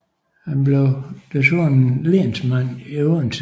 Han blev desuden lensmand i Odense